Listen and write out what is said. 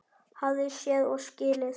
Hafði séð og skilið.